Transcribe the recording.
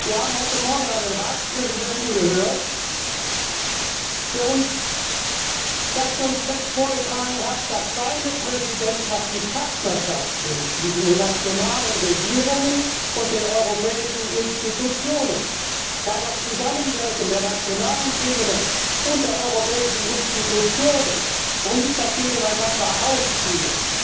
Wir haben heute morgen einen Ratspräsidenten gehört, der uns das Konzept vorgetragen hat, dass seine Präsidentschaft die Partnerschaft zwischen den nationalen Regierungen und den europäischen Institutionen will, weil das Zusammenwirken der nationalen Ebene und der europäischen Institutionen und nicht das Gegeneinanderausspielen